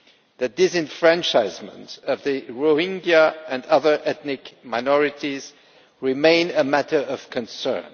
The disenfranchisement of the Rohingya and other ethnic minorities remains a matter of concern.